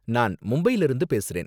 நான் மும்பைல இருந்து பேசுறேன்.